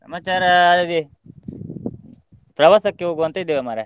ಸಮಾಚಾರ ಅದೇ ಪ್ರವಾಸಕ್ಕೆ ಹೋಗುವ ಅಂತ ಇದ್ದೇವೆ ಮಾರ್ರೆ.